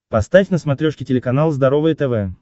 поставь на смотрешке телеканал здоровое тв